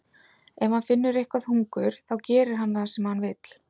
Ef hann finnur eitthvað hungur þá gerir hann það sem hann vill.